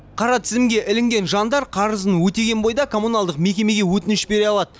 қара тізімге ілінген жандар қарызын өтеген бойда коммуналдық мекемеге өтініш бере алады